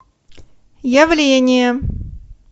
явление